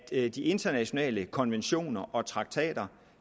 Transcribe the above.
de internationale konventioner og traktater